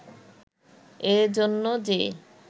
এ জন্য যে